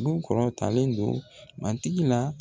Du kɔrɔtalen don matigi la